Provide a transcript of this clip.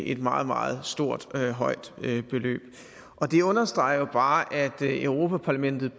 et meget meget stort beløb det understreger jo bare at europa parlamentet